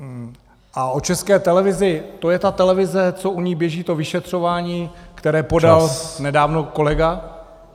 A o České televizi - to je ta televize, co u ní běží to vyšetřování, které podal nedávno kolega?